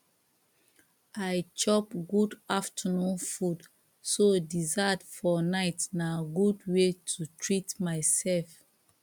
i chop good afternoon food so dessert for night na good way to treat myself